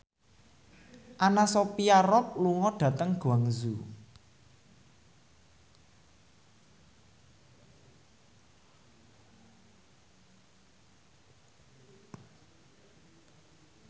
Anna Sophia Robb lunga dhateng Guangzhou